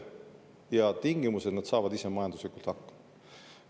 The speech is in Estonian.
Ja tingimus oli, et nad saavad ise majanduslikult hakkama.